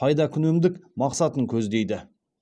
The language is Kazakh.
пайдакүнемдік мақсатын көздейді